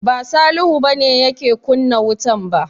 Ba Salihu ba ne yake kunna wutan ba.